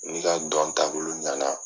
N'i ka dɔn taabolo ɲɛ na.